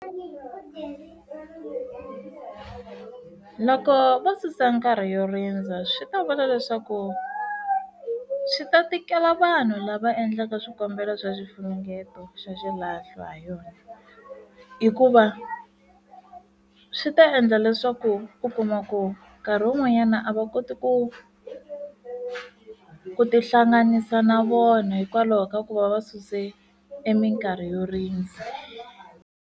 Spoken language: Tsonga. Nakoho vo susa nkarhi yo rindza swi ta vula leswaku swi ta tikela vanhu lava endlaka swikombelo swa xifunengeto xa xilahlo ha yona hikuva swi ta endla leswaku u kuma ku nkarhi wun'wanyana a va koti ku ku tihlanganisa na vona hikwalaho ka ku va va suse eminkarhi yo rindza.